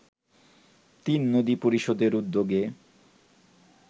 তিননদী পরিষদের উদ্যোগে